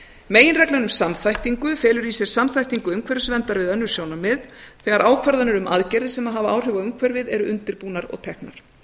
um samþættingu felur í sér samþættingu umhverfisverndar við önnur sjónarmið þegar ákvarðanir um aðgerðir sem hafa áhrif á umhverfið eru undirbúnar og teknar